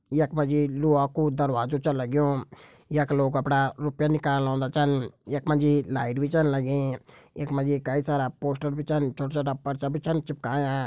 यख मा जी लोहा को दरवाजो छ लग्युं यख लोग कपड़ा रूपया निकालन ओन्दा छन यख मा जी लाइट भी छन लगीं यख मा जी कई सारा पोस्टर भी छन छोटा छोटा परचा छन भी चिपकायां।